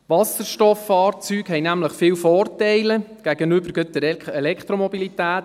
Wasserstofffahrzeuge haben nämlich viele Vorteile gerade gegenüber der Elektromobilität: